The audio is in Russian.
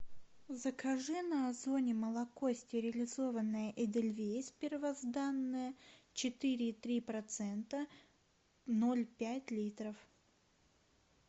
закажи на озоне молоко стерилизованное эдельвейс первозданное четыре и три процента ноль пять литров